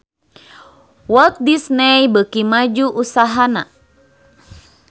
Walt Disney beuki maju usahana